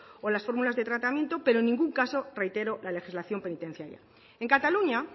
o las fórmulas de tratamiento pero en ningún caso reitero la legislación penitenciaria en cataluña